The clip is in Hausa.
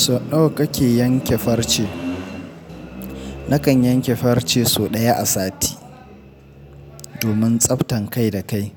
Sau nawa kake yanke farce? Nakan yanke farce sau ɗaya a sati. Domin tsaftan kai da kai.